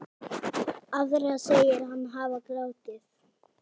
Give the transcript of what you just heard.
Aðra segir hann hafa grátið.